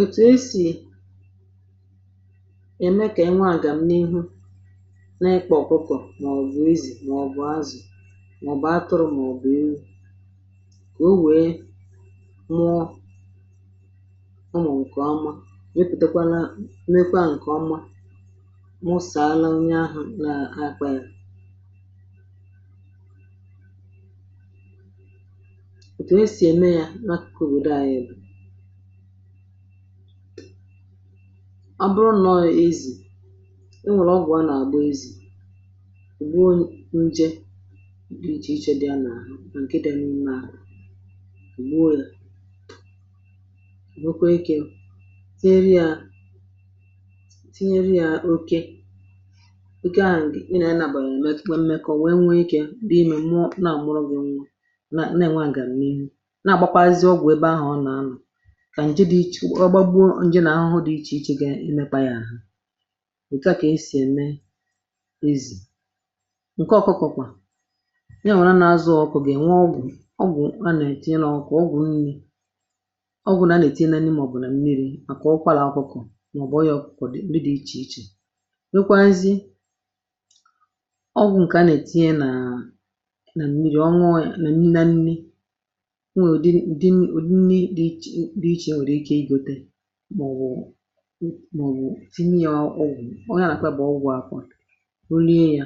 Òtù e si eme ka anụmanụ mụọ dị ka ezì, azị, atụrụ, ezì, ma ọ bụ ihe ọ bụla a zụ n’ụlọ. N’obodo anyị, ọ bụrụ na mmadụ chọrọ um ka anụmanụ ya mụọ nke ọma, e nwere ụzọ e si eme ya. Ụfọdụ ndị ga-amalite site n’ịlele anụ ahụ nke ọma, hụ ma ọ dị ike, ma ọ naghị arịa ọrịa. Ọ bụrụ na ọ bụ ezì, um a na-agba ya ọgwụ ka ọ gbuo nje ndị na-ebute ọrịa tupu e kụọ ya nwoke. Mgbe ahụ ka a ga-etinye ya n’aka nwaanyị ezì, ma ọ bụ n’aka nwoke dị ike, dabere n’ihe a chọrọ. Mgbe ọgwụ ahụ gasịrị, mmadụ ahụ ga-eche ụbọchị ole na ole ka ahụ ezì dịkwuo mma. Mgbe ahụ ka e si ewere ya tinye n’ebe a na-eme ka anụmanụ nwee mmekọahụ. A na-eme nke a n’ụzọ ziri ezi, n’ihi na ọ bụrụ na e mee ngwa ngwa, anụ ahụ agaghị mụọ nke ọma. Ugbu a, ọ bụrụ na e mechara, a ga-edobe anụ ahụ n’ebe dị ọcha, nye ya nri ọma,... nye ya mmiri zuru oke, hụkwa na ọ naghị enwe ọrịa. A naghị ekwe ka ụmụ anụ ndị ọzọ na-apụ n’ebe ahụ ka ha ghara imetọ ya. Ndị dibịa anụmanụ ma ọ bụ ndị ọkachamara ga-abịa lelee ya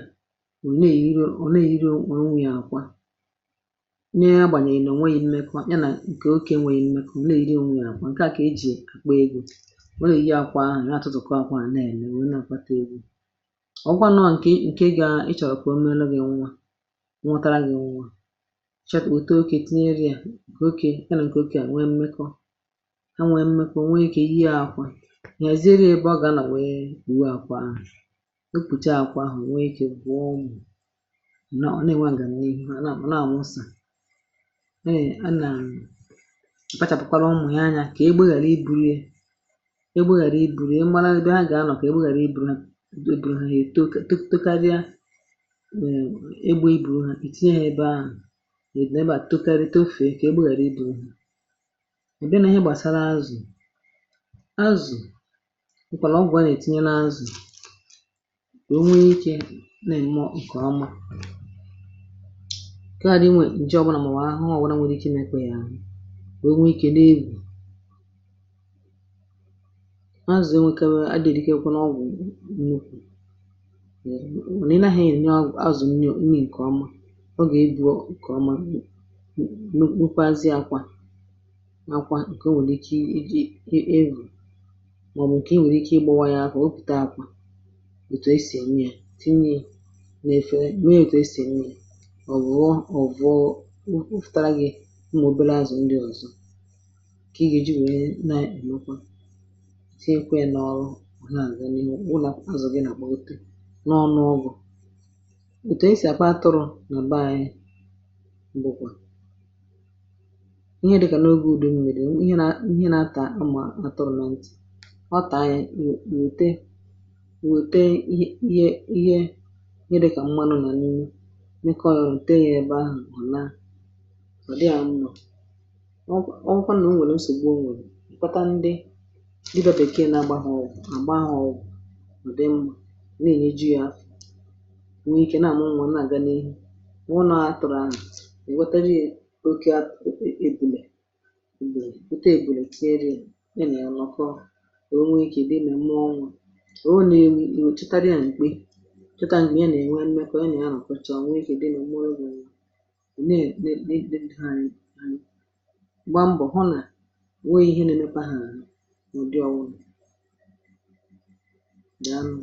mgbe ụfọdụ, hụ na ihe niile na-aga nke ọma. Ọ bụrụ na ọ bụ atụrụ ma ọ bụ azị, usoro ahụ yiri nke ahụ. A na-agba ọgwụ, a na-eme ka anụ ahụ dị umeala n’obi, kwadebere um ya maka ịmị nwa. Ọ bụrụ na e mechara, a na-elekọta nwa ahụ nke a mụrụ, na-ahụ na ọ na-aṅụ mmiri nke ọma, na-enweta nri, ma nne ya na-enwekwa ike. Otu ihe dị mkpa bụ na a ghaghị ịkpachapụ anya, ghara ịhapụ ha n’ebe ọkụ ma ọ bụ mmiri juputara, n’ihi na nke ahụ nwere ike ime ka ha daa ọrịa... Ndị mmadụ n’obodo anyị na-ekwu na mgbe anụmanụ mụrụ nke ọma, ọ bụ uru nye onye nwe ya, n’ihi um na ọ na-eweta ego, n’ụfọdụ oge ọ na-enyekwa àlà ọma nye ezinụlọ. Ọtụtụ mgbe, ndị mmadụ na-eji ọgwụ anụmanụ dị iche iche, nke e si n’akụkụ obodo zụta ma ọ bụ nke ndị dibịa n’ụlọ ha na-enye. Mgbe anụ ahụ mụrụ, a na-edozi ebe um ya nke ọma, a na-ehicha ya, na-enye ya nri na mmiri dị ọcha. Ọ bụrụkwa na e nwere nsogbu, dịka nne ahụ enweghị ike ịmị nwa, a na-akpọ dibịa ma ọ bụ dọkịta anụmanụ ka ọ lelee ya. N’ụzọ a ka a na-eme ka anụmanụ dị iche iche um ezì, azị, atụrụ, na ọbụna ọkụkọ nwee ike ịmị nwa nke ọma, bụrụkwa ihe bara uru n’ụlọ na n’obodo.